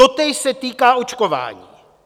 Totéž se týká očkování.